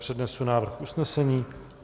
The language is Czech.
Přednesu návrh usnesení.